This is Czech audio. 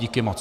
Díky moc.